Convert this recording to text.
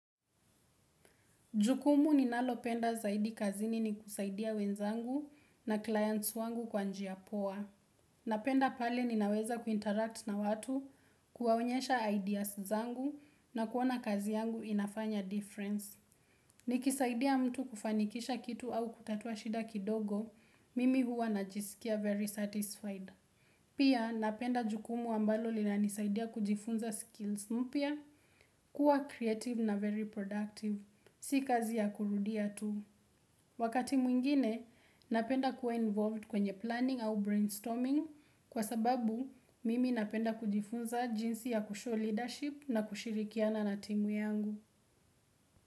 Jukumu ninalopenda zaidi kazini ni kusaidia wenzangu na clients wangu kwa njia poa. Napenda pale ninaweza kuinteract na watu, kuwaonyesha ideas zangu na kuona kazi yangu inafanya difference. Nikisaidia mtu kufanikisha kitu au kutatua shida kidogo, mimi huwa najiskia very satisfied. Pia napenda jukumu ambalo linanisaidia kujifunza skills mpya, kuwa creative na very productive. Si kazi ya kurudia tu. Wakati mwingine, napenda kuwa involved kwenye planning au brainstorming kwa sababu mimi napenda kujifunza jinsi ya kushow leadership na kushirikiana na timu yangu.